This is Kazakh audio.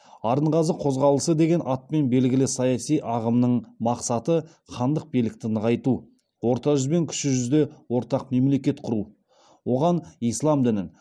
арынғазы қозғалысы деген атпен белгілі саяси ағымның мақсаты хандық билікті нығайту орта жүз бен кіші жүзде ортақ мемлекет құру оған ислам дінін